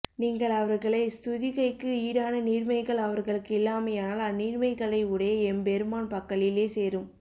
நீங்கள் அவர்களை ஸ் துதிக்கைக்கு ஈடான நீர்மைகள் அவர்களுக்கு இல்லாமையால் அந்நீர்மைகளை உடைய எம்பெருமான் பக்கலிலே சேரும்